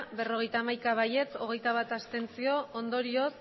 berrogeita hamaika abstentzioak hogeita bat ondorioz